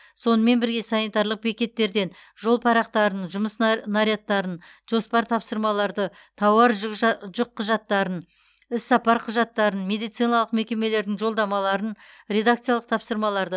сонымен бірге санитарлық бекеттерден жол парақтарын жұмыс нарядтарын жоспар тапсырмаларды тауар жүкқұжаттарын іссапар құжаттарын медициналық мекемелердің жолдамаларын редакциялық тапсырмаларды